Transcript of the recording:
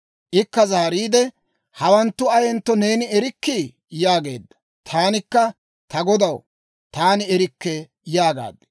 Ikka zaariide, «Hawanttu ayentto neeni erikkii?» yaageedda. Taanikka, «Ta godaw, taani erikke» yaagaad.